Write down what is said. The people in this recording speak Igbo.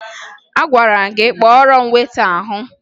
Agwara m gị kpọọrọ m weta ahụ!